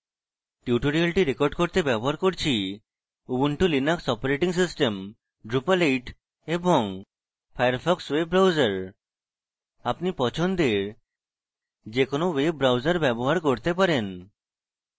tutorial record করতে ব্যবহার করছি: Ubuntu Linux operating system drupal 8 এবং ফায়ারফক্স ওয়েব ব্রাউজার আপনি পছন্দের যে কোনো ওয়েব ব্রাউজার ব্যবহার করতে পারেন